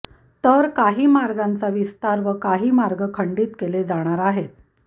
तर काही मार्गांचा विस्तार व काही मार्ग खंडीत केले जाणार आहेत